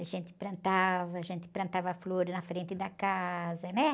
A gente plantava, a gente plantava flores na frente da casa, né?